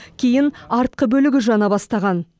кейін артқы бөлігі жана бастаған